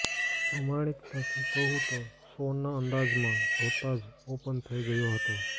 પ્રમાણિકતાથી કહું તો શોના અંદાજમાં જોતા જ ઓપન થઇ ગયો હતો